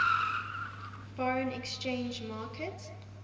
foreign exchange market